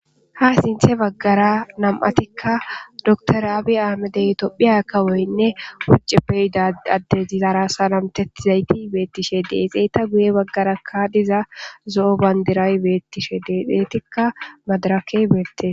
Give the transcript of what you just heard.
ha sinthe baggara nam7atikka doktoraabi aamedey tophiya kawoynne hucce peyida adde izara salamtettizayti beettishe deexeeta guye baggarakka diza zo7o bandiray beettishe deexeetikka madarakey beette